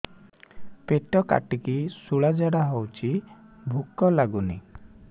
ପେଟ କାଟିକି ଶୂଳା ଝାଡ଼ା ହଉଚି ଭୁକ ଲାଗୁନି